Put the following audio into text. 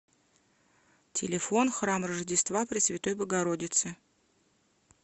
телефон храм рождества пресвятой богородицы